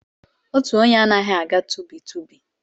Otu onye anaghị aga tụbi tụbi